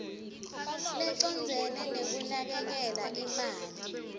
lecondzene nekunakekela imali